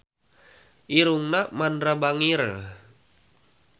Irungna Mandra bangir